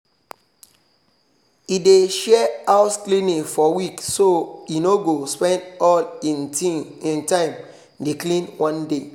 e dey share house cleaning for week so e no go spend all hin time dey clean one day